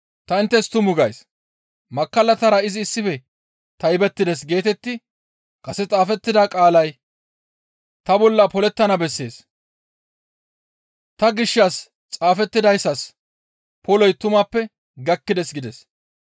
Ta inttes tuma gays; ‹Makkallatara izi issife taybettides› geetetti kase xaafettida qaalay ta bolla polettana bessees; ta gishshas xaafettidayssas poloy tumappe gakkides» gides.